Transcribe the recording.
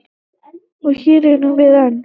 Og hér erum við enn.